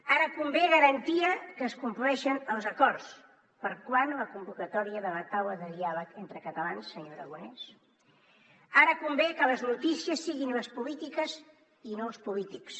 ara convé garantia que es compleixen els acords per a quan la convocatòria de la taula de diàleg entre catalans senyor aragonès ara convé que les notícies siguin les polítiques i no els polítics